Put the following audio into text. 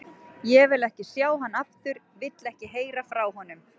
Ég vil ekki sjá hann aftur, vil ekki heyra frá honum.